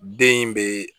Den in bɛ